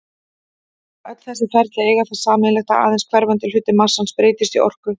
Öll þessi ferli eiga það sameiginlegt að aðeins hverfandi hluti massans breytist í orku.